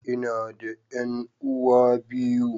Ina da 'yan'uwa biyu.